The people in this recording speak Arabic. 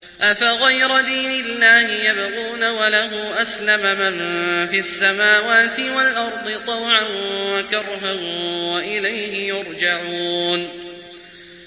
أَفَغَيْرَ دِينِ اللَّهِ يَبْغُونَ وَلَهُ أَسْلَمَ مَن فِي السَّمَاوَاتِ وَالْأَرْضِ طَوْعًا وَكَرْهًا وَإِلَيْهِ يُرْجَعُونَ